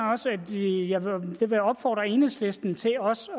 vil opfordre enhedslisten til også